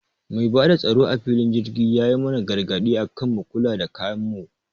Mai bada tsaro a filin jirgi yayi mana gargaɗi akan mu kula da kayan mu